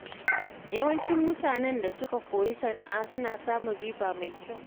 Yawancin mutanen da suka koyi sana’a suna samun riba mai kyau.